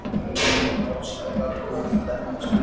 Ég finn að hálsæðarnar þenjast út.